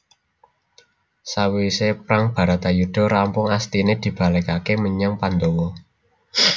Sawise prang Bharatayuda rampung Astine dibalikake menyang Pandawa